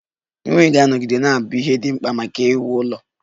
Mmiri ga-anọgide na-abụ ihe dị mkpa maka iwuli elu.